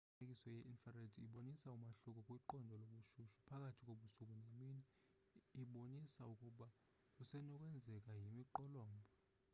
imifanekiso ye-infrared ibonisa umahluko kwiqondo lobushushu phakathi kobusuku nemini ibonisa ukuba kusenokwenzeka yimiqolombha